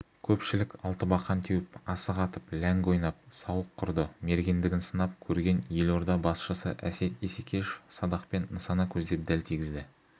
көпшілік алтыбақан теуіп асық атып ләңгі ойнап сауық құрды мергендігін сынап көрген елорда басшысы әсет исекешев садақпен нысана көздеп дәл тигізді